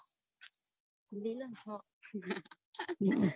લીલો ને